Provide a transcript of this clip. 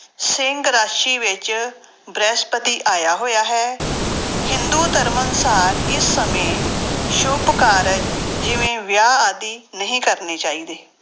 ਸਿੰਘ ਰਾਸੀ ਵਿੱਚ ਬ੍ਰਹਿਸਪਤੀ ਆਇਆ ਹੋਇਆ ਹੈ, ਹਿੰਦੂ ਧਰਮ ਅਨੁਸਾਰ ਇਸ ਸਮੇਂ ਸੁੱਭ ਕਾਰਜ ਜਿਵੇਂ ਵਿਆਹ ਆਦਿ ਨਹੀਂ ਕਰਨੇ ਚਾਹੀਦੇ।